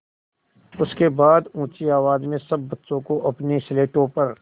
उसके बाद ऊँची आवाज़ में सब बच्चों को अपनी स्लेटों पर